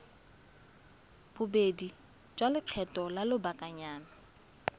bobedi ya lekgetho la lobakanyana